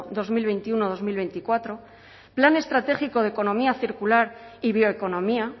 dos mil veintiuno dos mil veinticuatro plan estratégico de economía circular y bioeconomía